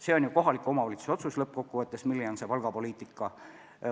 See on lõppkokkuvõttes kohaliku omavalitsuse otsus, milline on palgapoliitika.